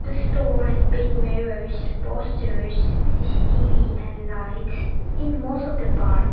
store i speak mirrors posters C_C_T_V and lights in most of the part